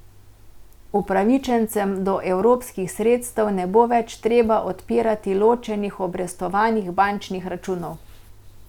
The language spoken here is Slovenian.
Upravičencem do evropskih sredstev ne bo več treba odpirati ločenih obrestovanih bančnih računov.